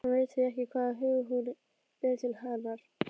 Hann veit því ekki hvaða hug hún ber til hennar.